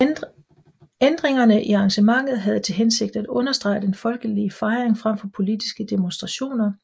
Ændringerne i arrangementet havde til hensigt at understrege den folkelige fejring frem for politiske demonstrationer